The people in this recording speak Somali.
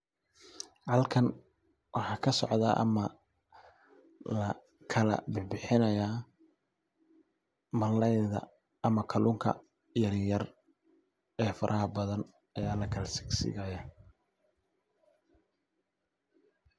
Halkan maxa kasocda ama kala bixinaya malalayga yaryar ama kalunka ee faraha badan aya lakala sigsigaya.